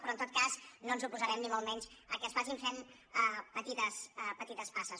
però en tot cas no ens oposarem ni molt menys al fet que es vagin fent petites passes